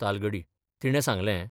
तालगडी तिणें सांगलें.